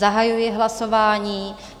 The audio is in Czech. Zahajuji hlasování.